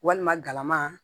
Walima galama